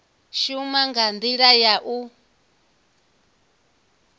shuma nga ndila ya u